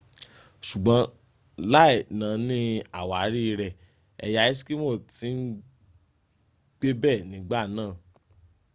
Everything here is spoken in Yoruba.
sùgbọ́n láì nání àwárí rẹ̀ ẹ̀yà eskimo ti ń gbébẹ̀ nígbà náà